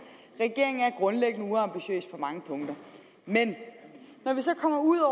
regeringen er grundlæggende uambitiøs på mange punkter men når vi så kommer ud